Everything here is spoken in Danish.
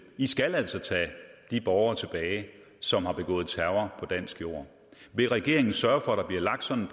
i skal altså tage de borgere tilbage som har begået terror på dansk jord vil regeringen sørge for at der bliver lagt sådan